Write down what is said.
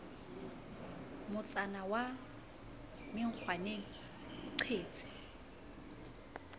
motsana wa menkgwaneng o qetse